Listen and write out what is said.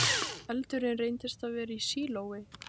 Eldurinn reyndist vera í sílói